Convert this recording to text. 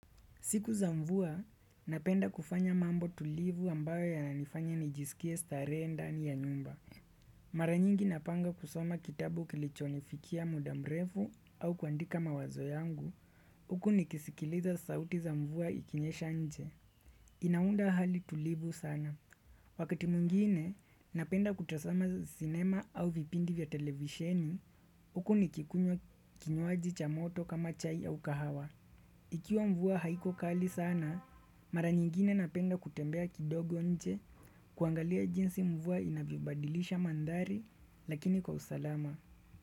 Siku za mvua, napenda kufanya mambo tulivu ambayo yanifanya nijisikie stare ndani ya nyumba. Maranyingi napanga kusoma kitabu kilichonifikia muda mrefu au kuandika mawazo yangu, uku nikisikiliza sauti za mvua ikinyesha nje. Inaunda hali tulivu sana. Wakati mwingine, napenda kutazama cinema au vipindi vya televisheni, uku nikikunywa kinywaji cha moto kama chai au kahawa. Ikiwa mvuwa haiko kali sana, mara nyingine napenda kutembea kidogo nje kuangalia jinsi mvua inavyobadilisha mandari lakini kwa usalama.